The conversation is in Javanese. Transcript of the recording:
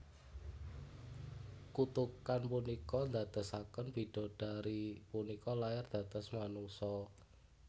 Kutukan punika ndadosaken bidodari punika lair dados manungsa